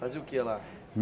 Fazia o que lá?